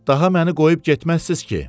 Daha məni qoyub getməzsiz ki?